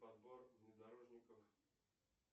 подбор внедорожников